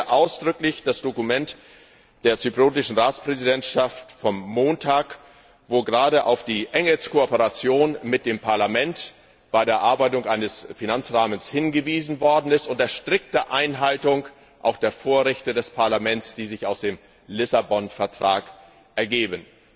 Ich begrüße ausdrücklich das Dokument der zypriotischen Ratspräsidentschaft vom Montag, wo gerade auf die enge Kooperation mit dem Parlament bei der Erarbeitung eines Finanzrahmens hingewiesen worden ist unter strikter Einhaltung auch der Vorrechte des Parlaments, die sich aus dem Vertrag von Lissabon ergeben.